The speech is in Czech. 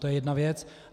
To je jedna věc.